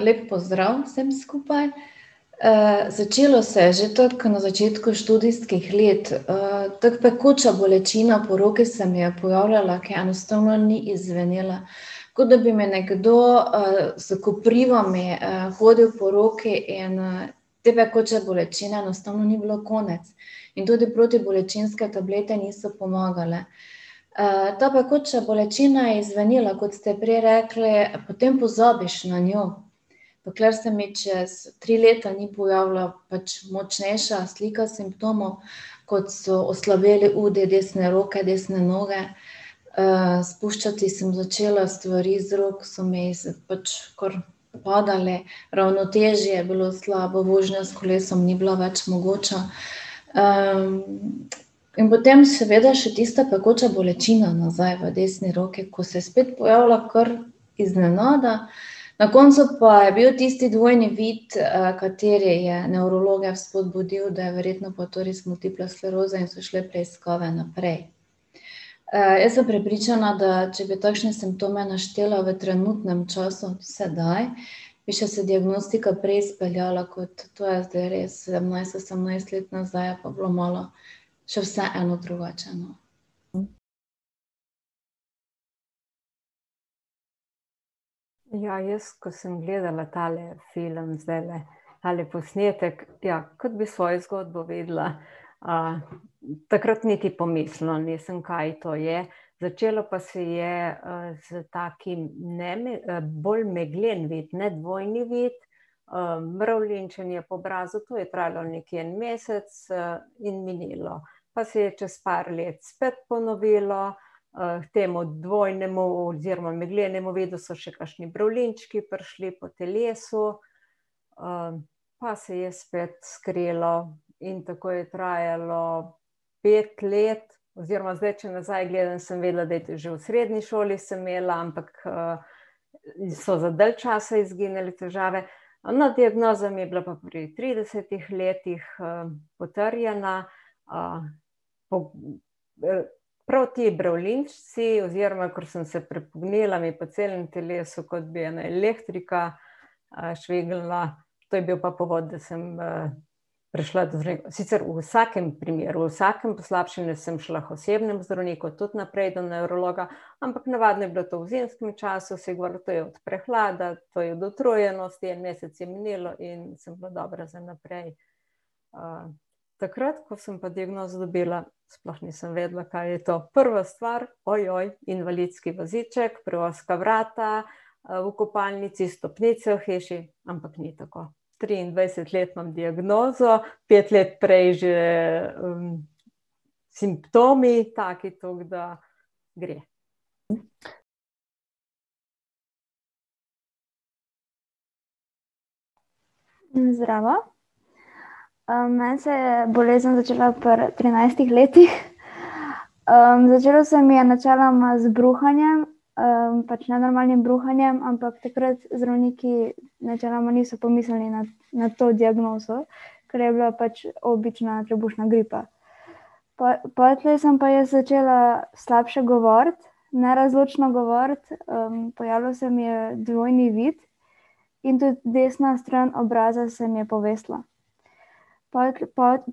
lep pozdrav vsem skupaj. začelo se je že tako na začetku študijskih let. tako pekoča bolečina po roki se mi je pojavljala, ke enostavno ni izzvenela. Kot da bi me nekdo, s koprivami, hodil po roki in, te pekoče bolečine enostavno ni bilo konec. In tudi protibolečinske tablete niso pomagale. ta pekoča bolečina je izzvenela, kot ste prej rekli, potem pozabiš na njo. Dokler se mi čez tri leta ni pojavila pač močnejša slika simptomov, kot so oslabeli udi desne roke, desne noge. spuščati sem začela stvari z rok, so mi z pač kar padale, ravnotežje je bilo slabo, vožnja s kolesom ni bila več mogoča. in potem seveda, še tista pekoča bolečina nazaj v desni roki, ko se je spet pojavila kar iznenada. Na koncu pa je bil tisti dvojni vid, kateri je nevrologe spodbudil, da je verjetno pa to res multipla skleroza in so šle preiskave naprej. jaz sem prepričana, da če bi takšne simptome naštela v trenutnem času, sedaj, bi še se diagnostika prej speljala kot to je zdaj res, sedemnajst, osemnajst let nazaj, je pa bilo malo še vseeno drugače, no. Ja, jaz, ke sem gledala tale film, zdajle, tale posnetek, ja, kot bi svojo zgodbo videla. takrat niti pomislila nisem, kaj to je, začelo pa se je, s takim ne bolj meglen vid, ne dvojni vid, mravljinčenje po obrazu, tu je trajalo nekje en mesec in minilo. Pa se je čez par let spet ponovilo, k temu dvojnemu oziroma meglenemu vidu so še kakšni mravljinčki prišli po telesu. pa se je spet skrilo in tako je trajalo pet let, oziroma zdaj, če nazaj gledam, sem videla, da je že v srednji šoli sem imela, ampak, so za dalj časa izginile težave. Ne, diagnoza mi je bila pa pri tridesetih letih, potrjena, po, prav ti bravljinčeci oziroma, kar sem se prepognila, mi je po celem telesu, kot bi ena elektrika, švignila. To je bil pa povod, da sem, prišla do sicer v vsakem primeru, vsakem poslabšanju sem šla k osebnemu zdravniku, tudi naprej na nevrologa, ampak navadno je bilo to v zimskem času, to je od prehlada, to je od utrujenosti, en mesec je minilo in sem bila dobra za naprej. takrat ko sem pa diagnozo dobila, sploh nisem vedela, kaj je to. Prva stvar, invalidski voziček, preozka vrata. v kopalnici stopnice v hiši, ampak ni tako. Triindvajset let imam diagnozo, pet let prej že, simptomi, taki, toliko da, gre. zdravo, meni se je bolezen začela pri trinajstih letih . začelo se mi je načeloma z bruhanjem, pač nenormalnim bruhanjem, ampak takrat zdravniki načeloma niso pomislili na, na to diagnozo. Ker je bila pač obična trebušna gripa. Pol, potlej sem pa jaz začela slabše govoriti, nerazločno govoriti, pojavljal se mi je dvojni vid. In tudi desna stran obraza se mi je povesila.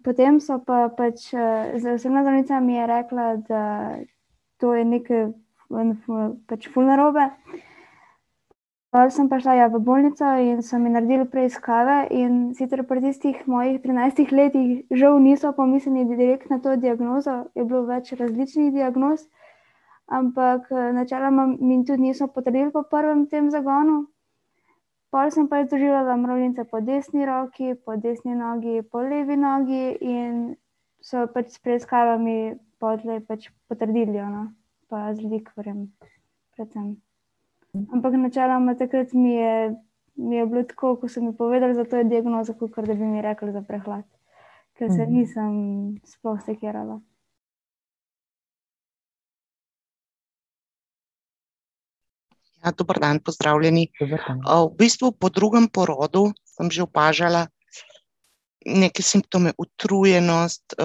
potem so pa pač, z osebna zdravnica mi je rekla, da to je pač ful narobe. Pol sem pa šla, ja, v bolnico in so mi naredili preiskave, in sicer pri tistih mojih trinajstih letih žal niso pomislili direkt na to diagnozo, je bilo več različnih diagnoz. Ampak, načeloma mi tudi niso potrdili po prvem tem zagonu. Pol sem pa jaz doživljala mravljince po desni roki, po desni nogi, po levi nogi in so pač s preiskavami potlej pač potrdili jo, no, pa z likvorjem, predvsem. Ampak načeloma takrat mi je, mi je bilo tako, ko so mi povedali za to diagnozo, kakor da bi mi rekli za prehlad. Ke se nisem sploh sekirala. Ja, dober dan, pozdravljeni. v bistvu po drugem porodu sem že opažala neke simptome, utrujenost,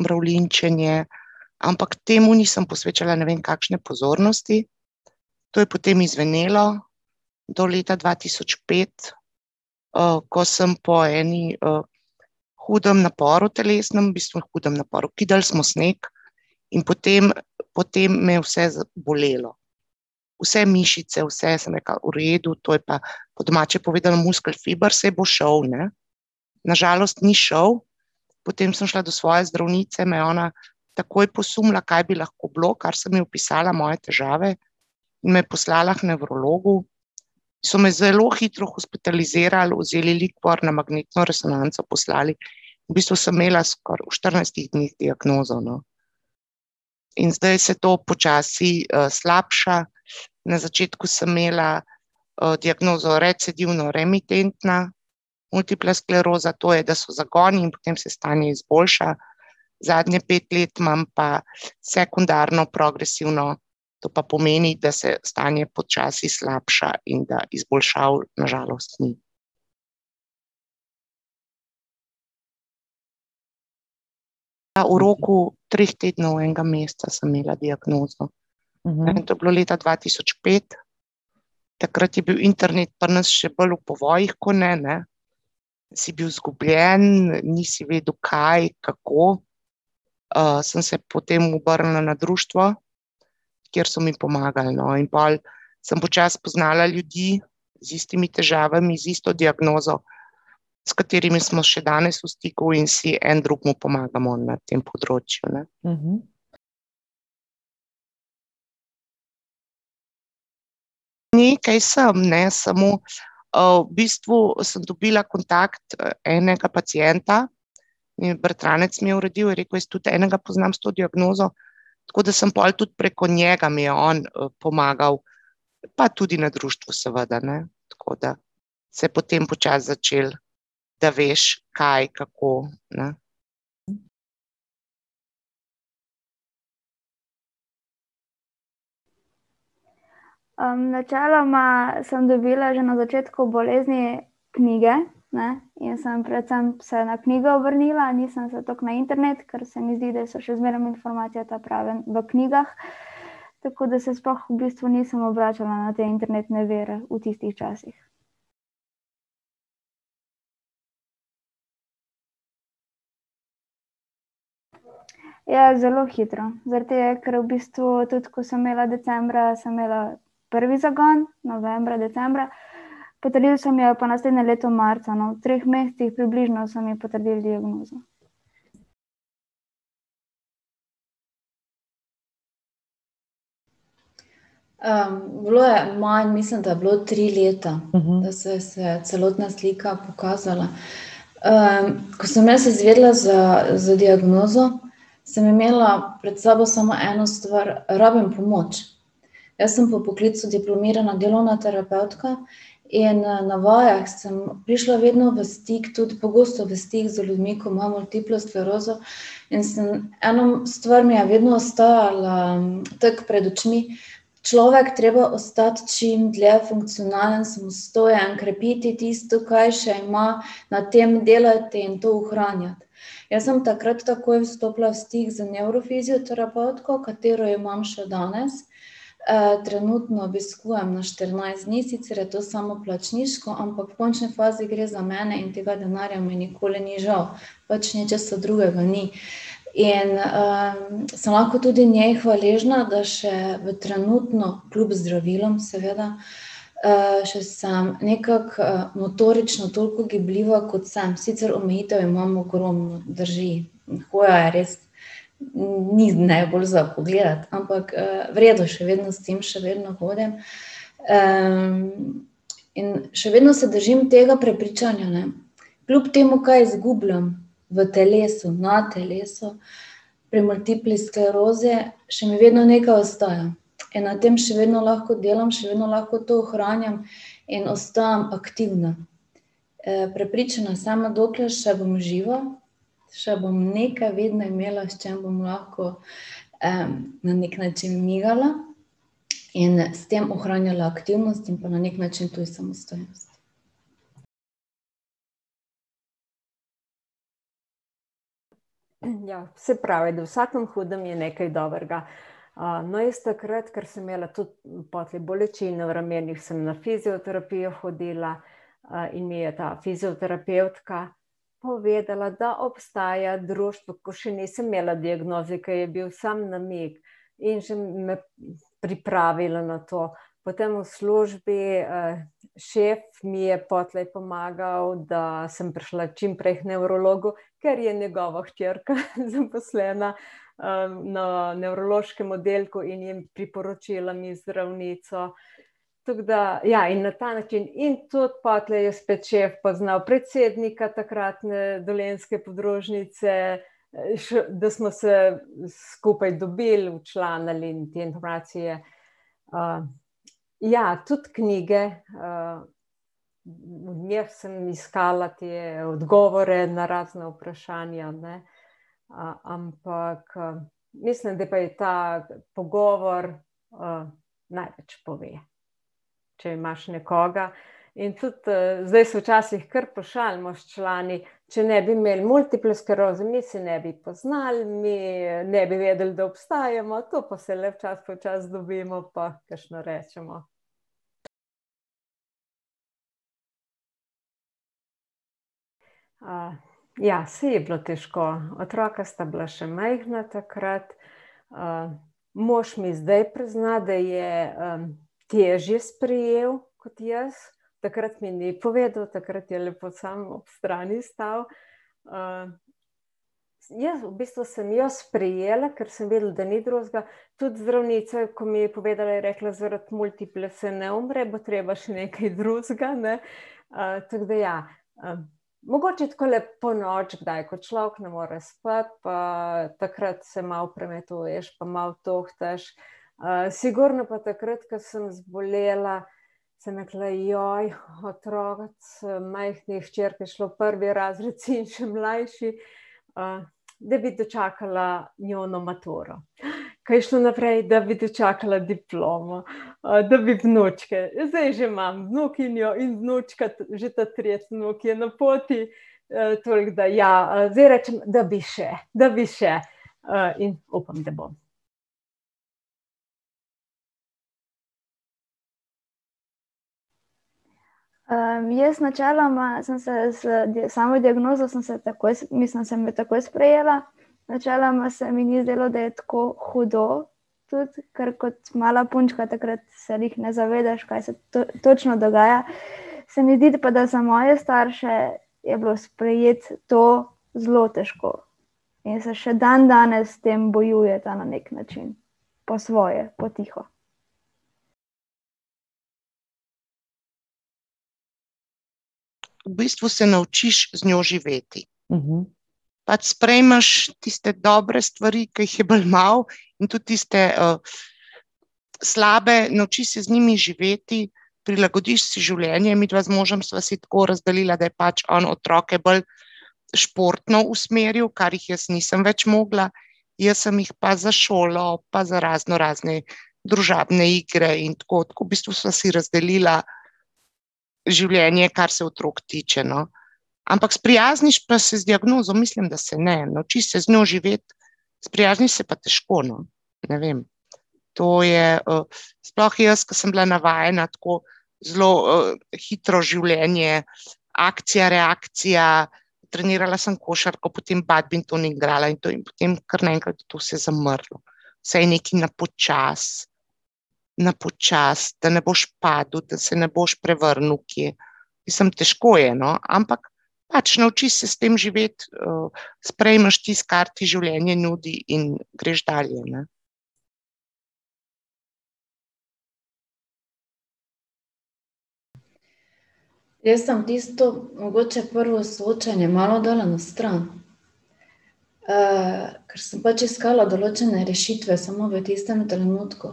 mravljinčenje, ampak temu nisem posvečala ne vem kakšne pozornosti. To je potem izzvenelo do leta dva tisoč pet, ko sem po eni hudem naporu telesnem, v bistvu hudem naporu, kidali smo sneg in potem, potem me je vse bolelo. Vse mišice, vse, sem rekla: "V redu, to je pa po domače povedano muskelfiber, saj bo šel, ne." Na žalost ni šel. Potem sem šla do svoje zdravnice, me je ona takoj posumila, kaj bi lahko bilo, kar sem ji opisala, moje težave. Me poslala k nevrologu. So me zelo hitro hospitalizirali, vzeli likvor, na magnetno resonanco poslali. V bistvu sem imela skoraj v štirinajstih dneh diagnozo, no. In zdaj se to počasi, slabša, na začetku sem imela, diagnozo recidivno-remitentna multipla skleroza, to je, da so zagoni in potem se stanje izboljša. Zadnje pet let imam pa sekundarno progresivno, to pa pomeni, da se stanje počasi slabša in da izboljšav na žalost ni. Ja, v roku treh tednov, enega meseca sem imela diagnozo. To je bilo leta dva tisoč pet, takrat je bil internet pri nas še bolj v povojih ko ne, ne. Si bil izgubljen, nisi vedel, kaj, kako. sem se potem obrnila na društvo, kjer so mi pomagali, no, in pol samo počasi spoznala ljudi z istimi težavami, z isto diagnozo, s katerimi smo še danes v stiku in si en drugemu pomagamo na tem področju, ne. Nekaj sem, ne, samo, v bistvu sem dobila kontakt enega pacienta, mi je bratranec mi je uredil, je rekel: "Jaz tudi enega poznam s to diagnozo." Tako da sem pol tudi preko njega, mi je on pomagal, pa tudi na društvu seveda, ne, tako da se je potem počasi začelo, da veš, kaj, kako, ne. načeloma sem dobila že na začetku bolezni knjige, ne. In sem predvsem se na knjige obrnila, nisem se tako na internet, ker se mi zdi, da so že zmerom informacije ta prave v knjigah. Tako da se sploh v bistvu nisem obračala ne te internetne vire v tistih časih. Ja, zelo hitro. Zaradi tega ker v bistvu tudi, ko sem imela decembra, sem imela prvi zagon, novembra, decembra. Potrdili so mi jo pa naslednje leto marca, no, v treh mesecih približno so mi potrdili diagnozo. bilo je manj, mislim, da je bilo tri leta, da so se celotna slika pokazala. ko sem jaz izvedela za za diagnozo, sem imela pred sabo samo eno stvar, rabim pomoč. Jaz sem po poklicu diplomirana delovna terapevtka in, na vajah sem prišla vedno v stik tudi pogosto v stik z ljudmi, ki imajo multiplo sklerozo in sem, ena stvar mi je vedno ostajala tako pred očmi, človek treba ostati čim dlje funkcionalen, samostojen, krepiti tisto, kaj še ima, na tem delati in to ohranjati. Jaz sem takrat takoj vstopila v stik z nevrofizioterapevtko, katero imam še danes. trenutno obiskujem na štirinajst dni, sicer je to samoplačniško, ampak v končni fazi gre za mene in tega denarja mi nikoli ni žal. Pač nečesa drugega ni. In, sem lahko tudi njej hvaležna, da še v trenutno, kljub zdravilom, seveda, še sem nekako, motorično toliko gibljiva, kot sem, sicer omejitev imam ogromno, drži. hoja je res ni najbolj za pogledati, ampak, v redu, še vedno stojim, še vedno hodim. in še vedno se držim tega prepričanja, ne, kljub temu, kaj izgubljam v telesu, na telesu, pri multipli sklerozi, še mi vedno nekaj ostaja. In na tem še vedno lahko delam, še vedno lahko to ohranjam in ostajam aktivna. prepričana sem, dokler še bom živa, še bom nekaj vedno imela, s čim bom lahko, na neki način migala in s tem ohranja aktivnost in pa na neki način tudi samostojnost. Ja, se pravi, da v vsakem hudem je nekaj dobrega. no, jaz takrat, ker sem imela tudi potlej bolečino v ramenih, sem na fizioterapijo hodila, in mi je ta fizioterapevtka povedala, da obstaja društvo, ko še nisem imela diagnoze, ko je bil samo namig in šem pripravila na to. Potem v službi, šef mi je potlej pomagal, da sem prišla čimprej k nevrologu, ker je njegova hčerka zaposlena, na nevrološkem oddelku in je priporočila mi zdravnico, tako da, ja, in na ta način in tudi potlej je spet šef poznal predsednika takratne dolenjske podružnice, še, da smo se skupaj dobili, včlanili in . ja tudi knjige, v njih sem iskala te odgovore na razna vprašanje, ne. ampak, mislim da pa je ta pogovor, največ pove. Če imaš nekoga, in, tudi zdaj se včasih kar pošalimo s člani, če ne bi imel multiple skleroze, mi se ne bi poznali, mi ne bi vedeli, da obstajamo. To pa se le včasih pa včasih dobimo pa kakšno rečemo. ja, saj je bilo težko, otroka sta bila še majhna takrat. mož mi zdaj prizna, da je, težje sprejel kot jaz. Takrat mi ni povedal, takrat je lepo samo ob strani stal, ja, v bistvu sem jo sprejela, kar sem videla, da ni drugega. Tudi zdravnica, ko mi je povedala, je rekla: "Zaradi multiple se ne umre, bo treba še nekaj drugega, ne," tako da, ja. Mogoče takole ponoči, kdaj ko človek ne more spati pa, takrat se malo premetuješ pa malo tuhtaš. sigurno pa takrat, ke sem zbolela, sem rekla: otroci." majhna hčerka je šla v prvi razred, sin še mlajši, da bi dočakala njuno maturo , ke je šlo naprej, da bi dočakala diplomo, da bi vnučke, zdaj že imam vnukinjo in vnučka, že ta tretji vnuk je na poti, toliko da, ja, zdaj rečem: "Da bi še, da bi še," in upam, da bom. jaz načeloma sem se s samo diagnozo sem se takoj mislim, sem jo takoj sprejela. Načeloma se mi ni zdelo, da je tako hudo, tudi ker kot mala punčka takrat se glih ne zavedaš, kaj se točno dogaja. Se mi zdi, da pa za moje starše je bilo sprejeti to zelo težko in so še dandanes s tem bojujeta na neki način, po svoje, potiho. V bistvu se naučiš z njo živeti. Pač sprejmeš tiste dobre stvari, ki jih je bolj malo, in tudi tiste, slabe, naučiš se z njimi živeti, prilagodiš si življenje, midva z možem sva si tako razdelila, da je pač on otroke bolj športno usmerjal, kar jih jaz nisem več mogla. Jaz sem jih pa za šolo pa za raznorazne družabne igre in tako, tako v bistvu sva si razdelila življenje, kar se otrok tiče, no. Ampak sprijazniš pa se z diagnozo, mislim, da se ne, naučiš se z njo živeti, sprijazniš se pa težko, no, ne vem. To je, sploh jaz, ke sem bila navajena tako zelo, hitro življenje, akcija, reakcija. Trenirala sem košarko, potem badminton igrala in potem kar naenkrat je to vse zamrlo. Vse je nekaj na počasi, na počasi, da ne boš padel, da se ne boš prevrnil kje. Mislim, težko je, no, ampak pač naučiš se s tem živeti, sprejmeš tisto, kar ti življenje nudi, in greš dalje, ne. Jaz sem tisto mogoče prvo soočenje malo dala na stran. ker sem pač iskala določene rešitve, samo v tistem trenutku.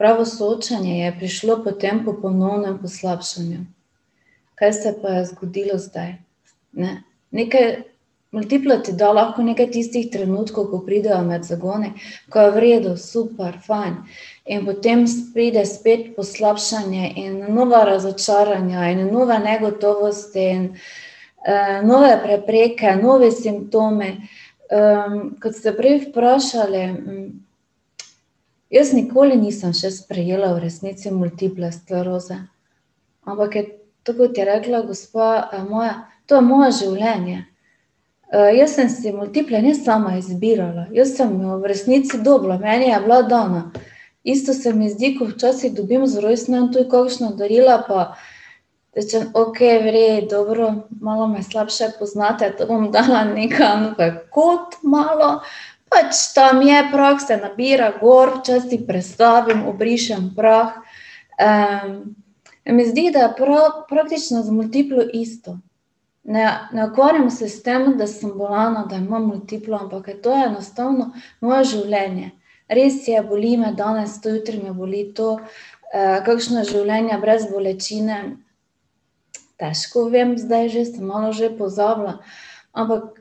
Pravo soočenje je prišlo potem po ponovnem poslabšanju, kaj se je pa zgodilo zdaj, ne, neke, multipla ti da lahko nekaj tistih trenutkov, ko pridejo med zagoni, ko je v redu, super, fajn in potem pride spet poslabšanje in nova razočaranja in nova negotovost in, nove prepreke, novi simptomi. kot ste prej vprašali, jaz nikoli nisem še sprejela v resnici multiple skleroze, ampak je to, kot je rekla gospa, moja, to je moje življenje, jaz sem si multiple ne sama izbirala, jaz sem jo v resnici dobila, meni je bila dana. Isto se mi zdi, ko včasih dobim za rojstni dan tudi kakšna darila pa rečem: "Okej, v redu, dobro, malo me slabše poznate, to bom dala nekam v kot, malo," pač tam je, prah se nabira gor, včasih prestavim, obrišem prah. se mi zdi, da prav praktično z multiplo isto. Ne, ne ukvarjam se s tem, da sem bolna, da imam multiplo, ampak je to enostavno moje življenje. Res je, boli me danes to, jutri me boli to. kakšno je življenje brez bolečine, težko vem zdaj že, sem malo že pozabila, ampak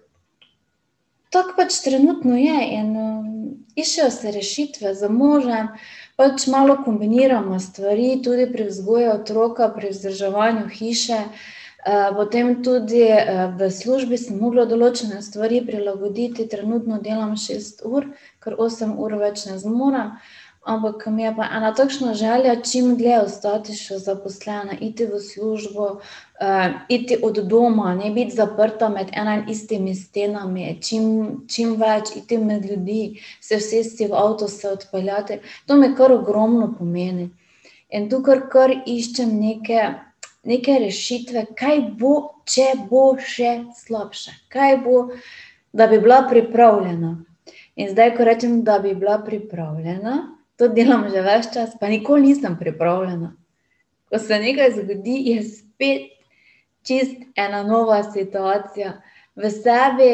tako pač trenutno je, in iščejo se rešitve, z možem pač malo kombinirava stvari, tudi pri vzgoji otroka, pri vzdrževanju hiše. potem tudi, v službi sem mogla določene stvari prilagoditi, trenutno delam šest ur, ker osem ur več ne zmorem. Ampak mi je pa ena takšna želja čim dlje ostati še zaposlena, iti v službo, iti od doma, ne biti zaprta med ena in istimi stenami, čim, čim več iti med ljudi, se usesti v avto, se odpeljati, to mi kar ogromno pomeni. In tukaj kar iščem neke, neke rešitve, kaj bo, če bo še slabše, kaj bo, da bi bila pripravljena. In zdaj ko rečem, da bi bila pripravljena, to delam že ves čas, pa nikoli nisem pripravljena. Ko se nekaj zgodi, je spet čisto ena nova situacija, v sebi,